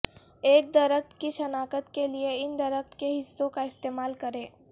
ایک درخت کی شناخت کے لئے ان درخت کے حصوں کا استعمال کریں